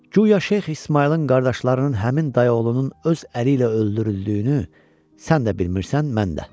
Guya Şeyx İsmayılın qardaşlarının həmin dayıoğlunun öz əli ilə öldürüldüyünü sən də bilmirsən, mən də.